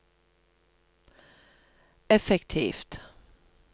effektivt